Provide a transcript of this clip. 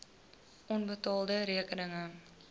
onbetaalde rekeninge